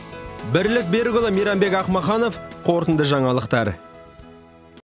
бірлік берікұлы мейрамбек ахмаханов қорытынды жаңалықтар